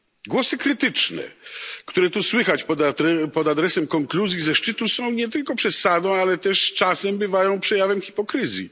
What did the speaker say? Głosy krytyczne, które tu słychać pod adresem konkluzji ze szczytu, są nie tylko przesadą, ale też czasem bywają przejawem hipokryzji.